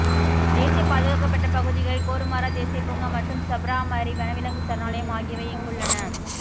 தேசிய பாதுகாக்கப்பட்ட பகுதிகளில் கோருமாரா தேசிய பூங்கா மற்றும் சப்ராமரி வனவிலங்கு சரணாலயம் ஆகியவை இங்குள்ளன